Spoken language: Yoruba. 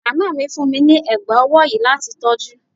Màmá mi fún mi ní ẹ̀gbá ọwọ́ yìí láti tọ́jú.